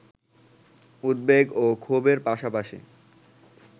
উদ্বেগ ও ক্ষোভের পাশাপাশি